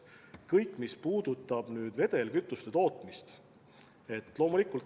Aga muutuma peab ka kõik, mis puutub vedelkütuste tootmisse.